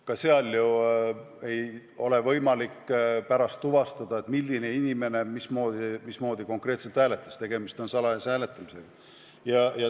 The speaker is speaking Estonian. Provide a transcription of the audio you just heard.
Ka seal ju ei ole võimalik tuvastada, milline inimene mismoodi konkreetselt hääletas, tegemist on salajase hääletamisega.